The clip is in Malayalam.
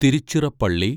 തിരുച്ചിറപ്പള്ളി